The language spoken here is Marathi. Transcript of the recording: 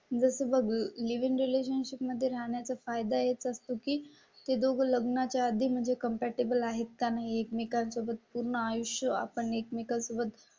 जसं मग लिव्ह इन रिलेशनशिप मध्ये राहण्या चा फायदा येत असतो की ते दोघं लग्नाच्या आधी म्हणजे कम्फर्टेबल आहेत का नाही एकमेकां सोबत पूर्ण आयुष्य आपण एकमेकां सोबत